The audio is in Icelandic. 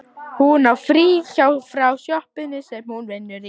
Hún á frí frá sjoppunni sem hún vinnur í.